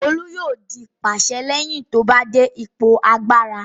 Olu yóò di pàṣẹ lẹ́yìn tó bá dé ipò agbára.